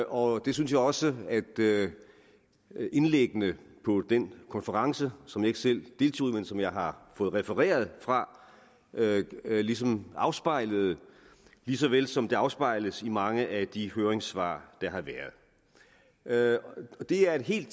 og det synes jeg også at indlæggene på den konference som jeg ikke selv deltog i men som jeg har fået refereret fra ligesom afspejlede lige såvel som det afspejles i mange af de høringssvar der har været det er et helt